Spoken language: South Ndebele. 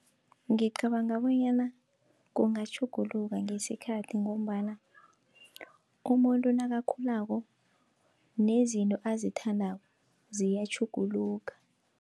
Ngicabanga bonyana kungatjhuguluka ngesikhathi, ngombana umuntu nakakhulako nezinto azithandako ziyatjhuguluka.